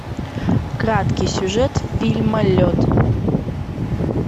краткий сюжет фильма лед